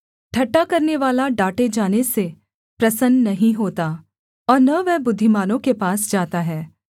ठट्ठा करनेवाला डाँटे जाने से प्रसन्न नहीं होता और न वह बुद्धिमानों के पास जाता है